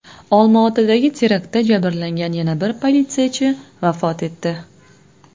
Olmaotadagi teraktda jabrlangan yana bir politsiyachi vafot etdi.